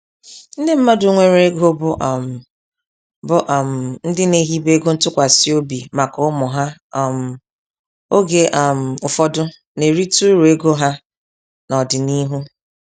Ndị mmadụ nwere ego, bụ um bụ um ndị na-ehibe ego ntụkwasị obi maka ụmụ ha um oge um ụfọdụ na-erite uru ego ha n'ọdịniihu.